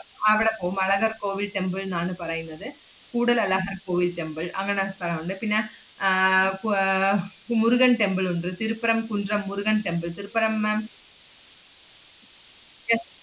അവടെ പോവും, അളകർ കോവിൽ temple ന്നാണ് പറയുന്നത്. കൂടൽ അളഹർ കോവിൽ temple അങ്ങനെ സ്ഥലവുണ്ട് പിന്നെ ആഹ് കു~ ആഹ് മുരുകൻ temple ഉണ്ട്, തിരുപ്പുറം കുൻഡ്രം മുരുകൻ temple തിരുപ്പുറം ma'am